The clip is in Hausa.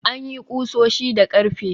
An yi ƙusoshi da ƙarfe.